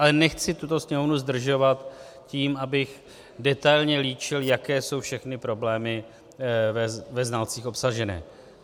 Ale nechci tuto Sněmovnu zdržovat tím, abych detailně líčil, jaké jsou všechny problémy ve znalcích obsaženy.